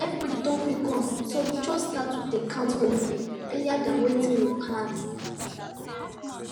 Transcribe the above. everybody don quick come so we just start to dey count for new year earlier than wetin we plan